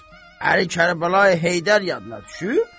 Əli Kərbəlayı Heydər yadına düşüb?